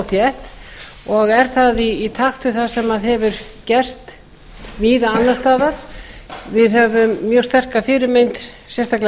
þétt og er það í takt við það sem hefur gerst víða annars staðar við höfum mjög sterka fyrirmynd sérstaklega